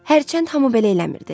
Hərçənd hamı belə eləmirdi.